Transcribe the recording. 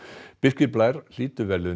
Birkir Blær hlýtur verðlaunin